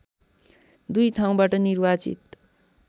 २ ठाउँबाट निर्वाचित